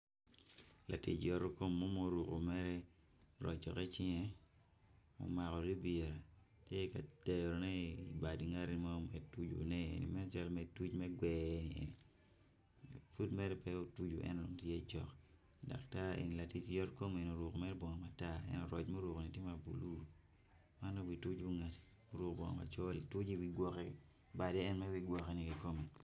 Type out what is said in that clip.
Latic yoto kom mo ma oruko mere rocore i cinge omako lubira tye ka terone i bad ngat mo me tucone nen calo me tuco me gwer pud mere me otuco en eni tye cok daktar eni latic yotkom eni oruko mere bongo matar roc ma ourko ni tye mablue ma en obi tuco ngati oruko bongo macol obitoco i wi gwoke made eni magigwoko ni eye kom.